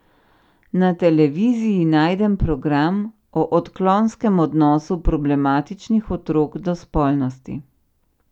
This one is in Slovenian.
Na televiziji najdem program o odklonskem odnosu problematičnih otrok do spolnosti.